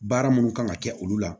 Baara munnu kan ka kɛ olu la